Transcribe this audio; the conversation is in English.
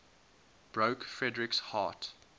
broke frederick's heart